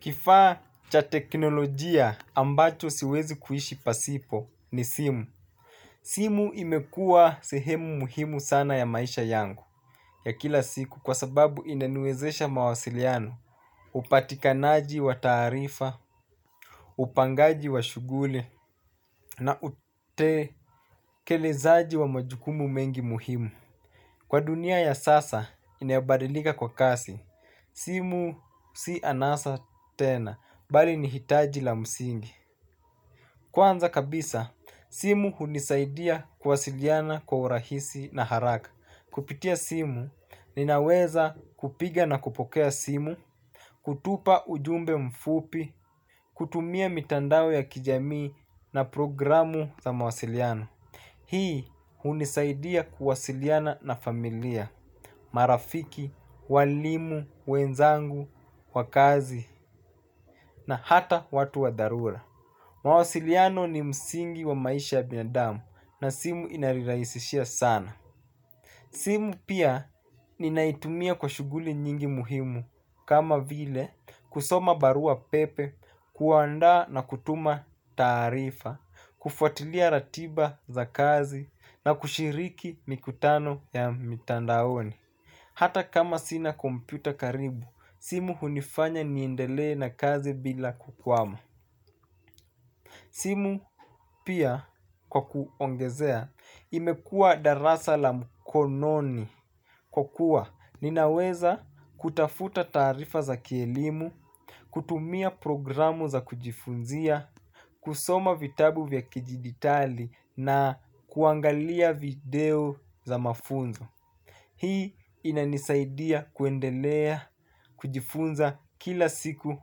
Kifaa cha teknolojia ambacho siwezi kuishi pasipo ni simu. Simu imekuwa sehemu muhimu sana ya maisha yangu ya kila siku kwa sababu inaniwezesha mawasiliano. Upatikanaji wa taarifa upangaji wa shughuli na utekelezaji wa majukumu mengi muhimu. Kwa dunia ya sasa inayobadilika kwa kasi simu si anasa tena bali ni hitaji la msingi. Kwanza kabisa, simu hunisaidia kuwasiliana kwa urahisi na haraka. Kupitia simu, ninaweza kupiga na kupokea simu, kutupa ujumbe mfupi, kutumia mitandao ya kijamii na programu za mawasiliano. Hii hunisaidia kuwasiliana na familia, marafiki, walimu, wenzangu, kwa kazi, na hata watu wa dharura. Mawasiliano ni msingi wa maisha ya binadamu na simu inanirahisishia sana. Simu pia ninaitumia kwa shughuli nyingi muhimu. Kama vile kusoma barua pepe, kuandaa na kutuma taarifa kufuatilia ratiba za kazi na kushiriki mikutano ya mitandaoni hata kama sina kompyuta karibu, simu hunifanya niendelee na kazi bila kukwama. Simu pia kwa kuongezea imekuwa darasa la mkononi kwa kuwa ninaweza kutafuta taarifa za kielimu, kutumia programu za kujifunzia, kusoma vitabu za kidigitali na kuangalia video za mafunzo. Hii inanisaidia kuendelea kujifunza kila siku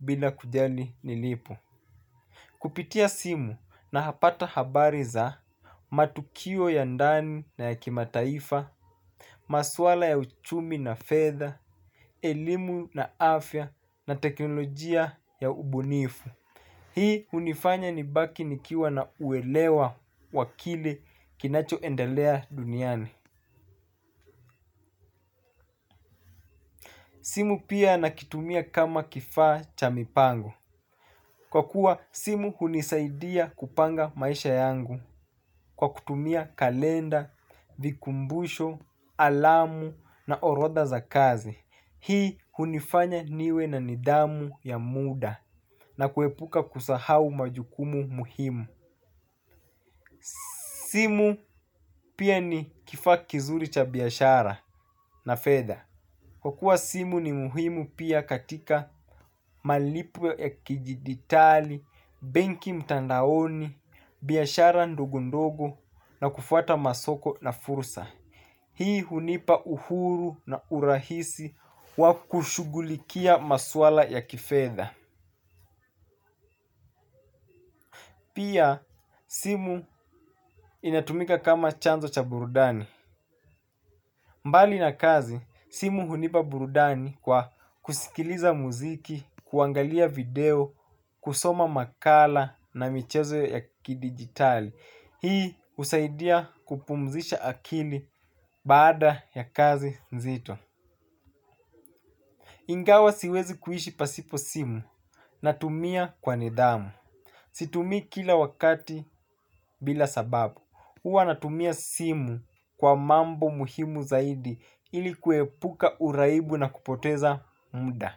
bila kujali nilipo. Kupitia simu napata habari za matukio ya ndani na ya kimataifa, maswala ya uchumi na fedha, elimu na afya na teknolojia ya ubunifu. Hii hunifanya nibaki nikiwa na uelewa wa kile kinachoendelea duniani. Simu pia nakitumia kama kifaa cha mipango. Kwa kuwa simu hunisaidia kupanga maisha yangu kwa kutumia kalenda, vikumbusho, alamu na orodha za kazi. Hii hunifanya niwe na nidhamu ya muda na kuepuka kusahau majukumu muhimu. Simu pia ni kifaa kizuri cha biashara na fedha. Kwa kuwa simu ni muhimu pia katika malipo ya kijiditali, benki mtandaoni, biashara ndogo ndogo na kufuata masoko na fursa. Hii hunipa uhuru na urahisi wa kushughulikia maswala ya kifedha. Pia simu inatumika kama chanzo cha burudani. Mbali na kazi, simu hunipa burudani kwa kusikiliza muziki, kuangalia video, kusoma makala na michezo ya kidigitali. Hii husaidia kupumzisha akili baada ya kazi nzito. Ingawa siwezi kuishi pasipo simu natumia kwa nidhamu. Situmii kila wakati bila sababu. Huwa natumia simu kwa mambo muhimu zaidi ili kuepuka uraibu na kupoteza muda.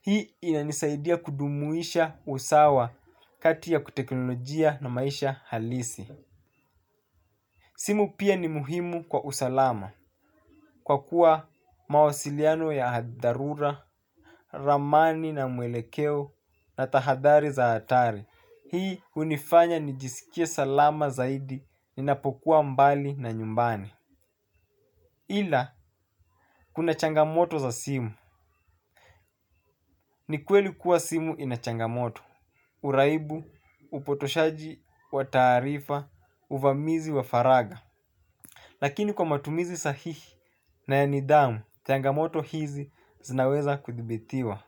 Hii inanisaidia kujumuisha usawa kati ya kiteknolojia na maisha halisi. Simu pia ni muhimu kwa usalama. Kwa kuwa mawasiliano ya dharura, ramani na mwelekeo na tahadari za hatari. Hii hunifanya nijisikie salama zaidi ninapokuwa mbali na nyumbani. Ila, kuna changamoto za simu. Ni kweli kuwa simu ina changamoto. Uraibu, upotoshaji, wa taarifa, uvamizi wa faragha. Lakini kwa matumizi sahihi na ya nidhamu, changamoto hizi zinaweza kuthibitiwa.